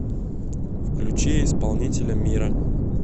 включи исполнителя мира